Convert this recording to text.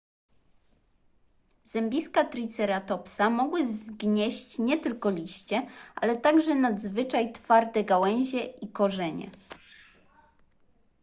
zębiska triceratopsa mogłyby zgnieść nie tylko liście ale także nadzwyczaj twarde gałęzie i korzenie